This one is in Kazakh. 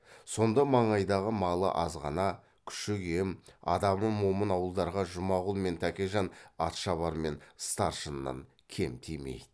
сонда маңайдағы малы азғана күші кем адамы момын ауылдарға жұмағұл мен тәкежан атшабар мен старшыннан кем тимейді